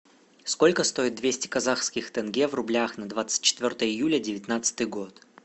сколько стоит двести казахских тенге в рублях на двадцать четвертое июля девятнадцатый год